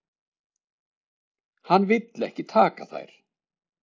Hann vill ekki taka þær.